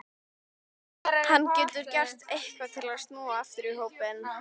Getur hann gert eitthvað til að snúa aftur í hópinn?